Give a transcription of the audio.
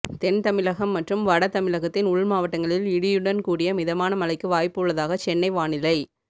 தென் தமிழகம் மற்றும் வட தமிழகத்தின் உள்மாவட்டங்களில் இடியுடன் கூடிய மிதமான மழைக்கு வாய்ப்பு உள்ளதாக சென்னை வானிலை